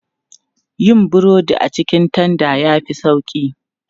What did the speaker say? Yin burodi a cikin tanda ya fi sauƙi.